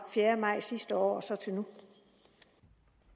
fjerde maj sidste år